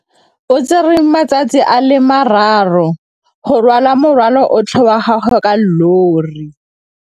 O tsere malatsi a le marraro go rwala morwalo otlhe wa gagwe ka llori.